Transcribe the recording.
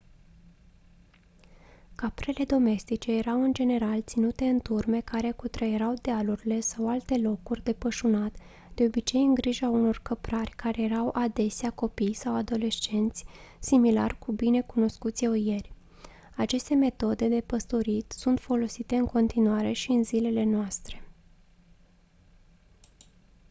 caprele domestice erau în general ținute în turme care cutreierau dealurile sau alte locuri de pășunat de obicei în grija unor căprari care erau adesea copii sau adolescenți similar cu bine cunoscuții oieri aceste metode de păstorit sunt folosite în continuare și în zilele noastre